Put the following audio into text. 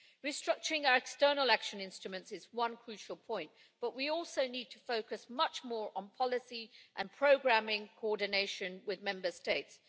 Restructuring our external action instruments is one crucial point, but we also need to focus much more on policy and programming coordination with Member States.